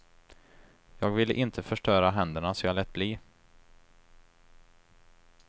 Jag ville inte förstöra händerna så jag lät bli.